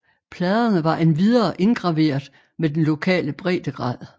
Pladerne var endvidere indgraveret med den lokale breddegrad